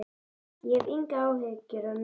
Ég hef engar áhyggjur af neinu.